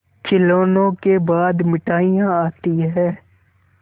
खिलौनों के बाद मिठाइयाँ आती हैं